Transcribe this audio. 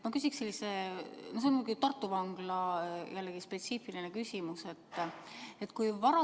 Ma küsiksin sellise küsimuse, see on jällegi spetsiifiline küsimus Tartu Vangla kohta.